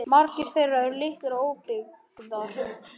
Margar þeirra eru litlar og óbyggðar